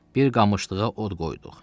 Bir qamışlığa od qoyduq.